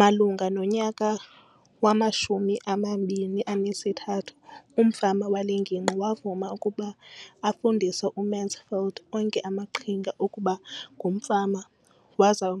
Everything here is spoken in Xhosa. Malunga nonyaka wama-2013, umfama wale ngingqi wavuma ukuba afundise uMansfield onke amaqhinga okuba ngumfama waza wa